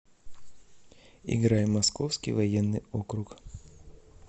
играй московский военный округ